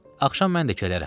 Axşam mən də gələrəm.